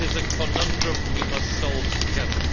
It is a conundrum we must solve together.